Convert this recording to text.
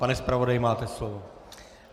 Pane zpravodaji, máte slovo.